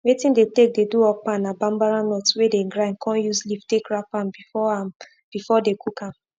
wetin dey take dey do okpa na bambara nut wey dey grind con use leaf take wrap am before am before dey cook am